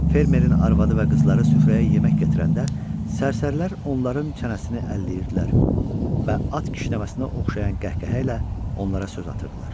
Fermerin arvadı və qızları süfrəyə yemək gətirəndə sərsərilər onların çənəsini əlləyirdilər və at kişnəməsinə oxşayan qəhqəhə ilə onlara söz atırdılar.